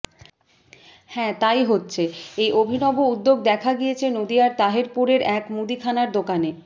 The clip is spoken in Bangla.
হ্যাঁ তাই হচ্ছে এই অভিনব উদ্যোগ দেখা গিয়েছে নদিয়ার তাহেরপুরের এক মুদিখানার দোকানে